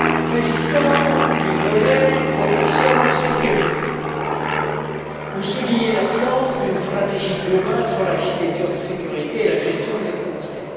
S'agissant du volet protection sécurité, vous soulignez l'absence d'une stratégie globale sur l'architecture de sécurité et la gestion des frontières.